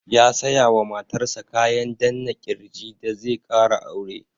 Ya saya wa matar sa kayan danna ƙirji da zai ƙara aure.